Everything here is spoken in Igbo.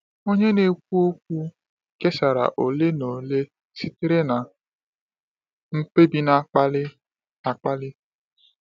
Onye na-ekwu okwu kesara ole na ole sitere na mkpebi na-akpali akpali.